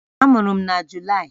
Amụrụ m na Julaị